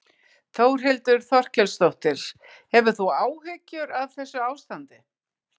Þórhildur Þorkelsdóttir: Hefur þú áhyggjur af þessu ástandi?